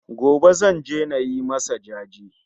Gobe Zan je nayi masa jaje